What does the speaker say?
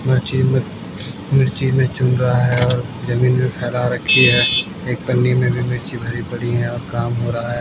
मर्ची में मिर्ची में चु रहा है और जमीन में फैला रखी है एक पन्नी में भी मिर्ची भरी पड़ी है और काम हो रहा है।